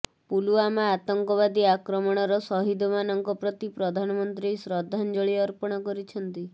ପୁଲୱାମା ଆତଙ୍କବାଦୀ ଆକ୍ରମଣର ଶହୀଦମାନଙ୍କ ପ୍ରତି ପ୍ରଧାନମନ୍ତ୍ରୀ ଶ୍ରଦ୍ଧାଞ୍ଜଳି ଅର୍ପଣ କରିଛନ୍ତି